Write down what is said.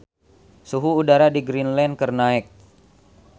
Suhu udara di Greenland keur naek